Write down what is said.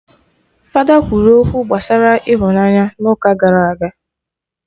Fada kwuru okwu gbasara ịhụnanya n'ụka gara aga